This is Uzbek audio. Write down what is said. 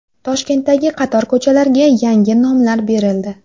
Toshkentdagi qator ko‘chalarga yangi nomlar berildi .